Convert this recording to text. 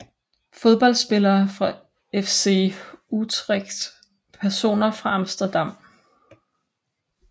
Fodboldspillere fra FC Utrecht Personer fra Amsterdam